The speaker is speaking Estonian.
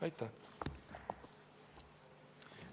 Aitäh!